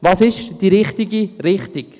Welches ist die richtige Richtung?